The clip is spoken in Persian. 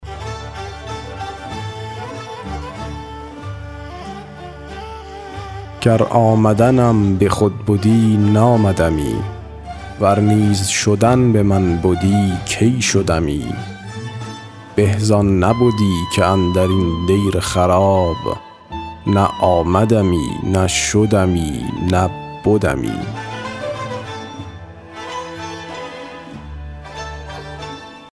گر آمدنم به خود بدی نآمدمی ور نیز شدن به من بدی کی شدمی به زان نبدی که اندر این دیر خراب نه آمدمی نه شدمی نه بدمی